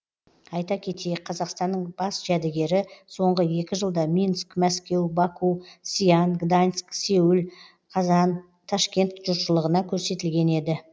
айта кетейік қазақстанның бас жәдігері соңғы екі жылда минск мәскеу баку сиан гданьск сеул қазан ташкент жұртшылығына көрсетілген еді